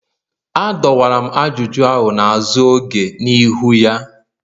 Adọwara m ajụjụ ahụ n'azụ oge n'ihu ya